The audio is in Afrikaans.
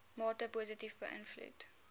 mate positief beïnvloed